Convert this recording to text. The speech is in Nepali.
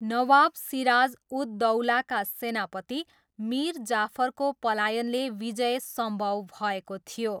नवाब सिराज उद दौलाका सेनापति मिर जाफरको पलायनले विजय सम्भव भएको थियो।